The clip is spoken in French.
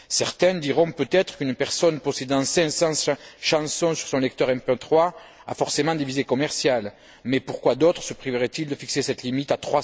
Certains diront peut être qu'une personne possédant 500 chansons sur son lecteur MP3 a forcément des visées commerciales, mais pourquoi d'autres se priveraient ils de fixer cette limite à